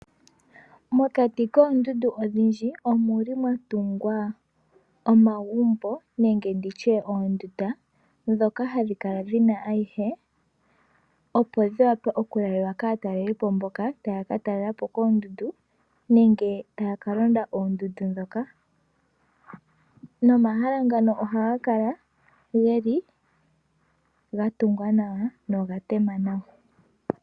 Mokati koondundu odhindji omuli mwatungwa omagumbo nenge nditye oondunda ndhoka hadhi kala dhina ayihe, opo dhi wape okulalwa kaataleli po mboka taya ka talela po oondundu nenge taya ka londa oondundu ndhoka Nomahala ngano ohaga kala geli ga tungwa nawa noga tema nawa.